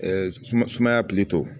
sumaya